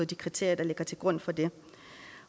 de kriterier der ligger til grund for det